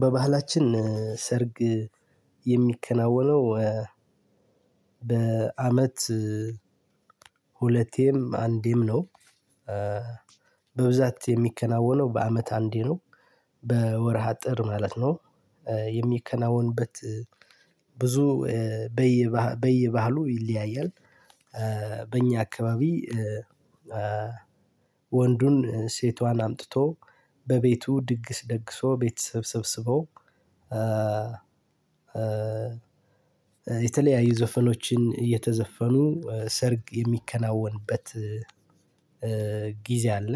በባህላችን ሰርግ የሚከናወነው በአመት ሁለቴም አንዴም ነው። በብዛት የሚከናወነው በአመት አንዴ ነው። በወር ሃጥር ማለት ነው። የሚከናወንበት ብዙ በየባህሉ ይለያያል። በእኛ አካባቢ ወንዱን ሴቷን አምጥቶ፣ በቤቱ ድግስ ደግሶ ቤተሰብ ሰብስበው የተለያዩ ዘፈኖችን እየተዘፈኑ ሰርግ የሚከናወንበት ጊዜ አለ።